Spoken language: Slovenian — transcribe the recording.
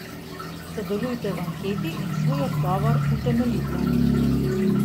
Sodelujte v anketi in svoj odgovor utemeljite.